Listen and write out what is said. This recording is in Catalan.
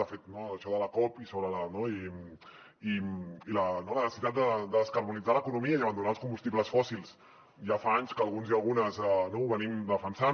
de fet això de la cop i la necessitat de descarbonitzar l’economia i abandonar els combustibles fòssils ja fa anys que alguns i algunes ho defensem